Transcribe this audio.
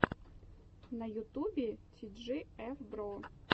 на ютубе ти джи эф бро